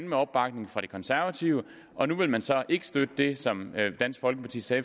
med opbakning fra de konservative og nu vil man så ikke støtte det som dansk folkeparti sagde